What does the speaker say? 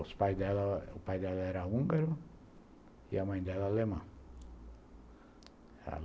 O pai dela era húngaro e a mãe dela alemã.